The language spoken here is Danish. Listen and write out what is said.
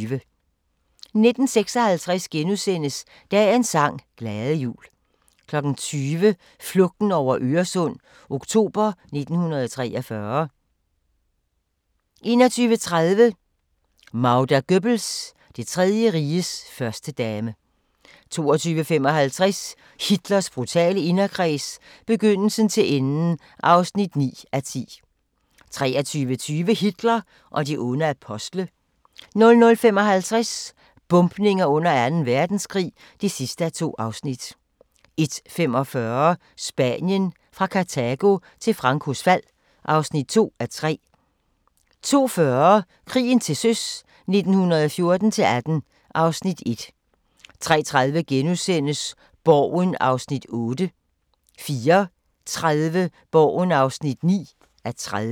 19:56: Dagens sang: Glade jul * 20:00: Flugten over Øresund – oktober 1943 21:30: Magda Goebbels – Det Tredje Riges førstedame 22:25: Hitlers brutale inderkreds – begyndelsen til enden (9:10) 23:20: Hitler og de onde apostle 00:55: Bombninger under Anden Verdenskrig (2:2) 01:45: Spanien – fra Kartago til Francos fald (2:3) 02:40: Krigen til søs 1914-18 (Afs. 1) 03:30: Borgen (8:30)* 04:30: Borgen (9:30)